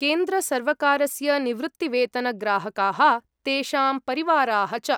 केन्द्रसर्वकारस्य निवृत्तिवेतनग्राहकाः तेषां परिवाराः च ।